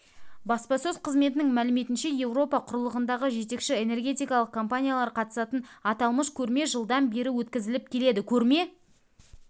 баспасөз қызметінің мәліметінше еуропа құрлығындағы жетекші энергетикалық компаниялар қатысатын аталмыш көрме жылдан бері өткізіліп келеді көрме